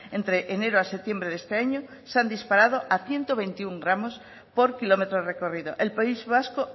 entre enero a septiembre de este año se han disparado a ciento veintiuno gramos por kilómetro recorrido el país vasco